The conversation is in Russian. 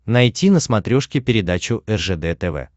найти на смотрешке передачу ржд тв